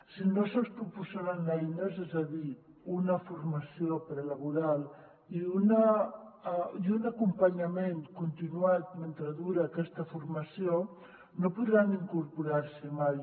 si no se’ls proporcionen eines és a dir una for·mació prelaboral i un acompanyament continuat mentre dura aquesta formació no podran incorporar·s’hi mai